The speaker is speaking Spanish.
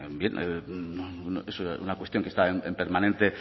es una cuestión que está en permanente